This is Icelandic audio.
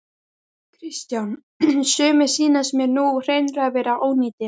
Kristján: Sumir sýnist mér nú hreinlega vera ónýtir?